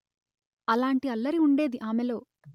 అలాంటి అల్లరి వుండేది ఆమెలో